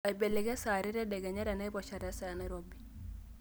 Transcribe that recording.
aibelekeny saa are tedekenya tenaiposha tesaa enairobi